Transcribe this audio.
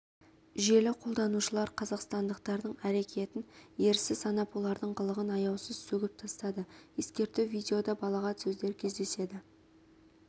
желі қолданушылар қазақсатндықтардың әрекетін ерсі санап олардың қылығын аяусыз сөгіп тастады ескерту видеода балағат сөздер кездеседі